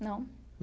Não?